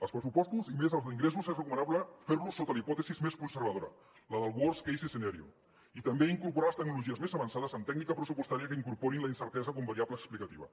els pressupostos i més els d’ingressos és recomanable fer los sota la hipòtesi més conservadora la del worst case scenario i també incorporar les tecnologies més avançades amb tècnica pressupostària que incorporin la incertesa com a variable explicativa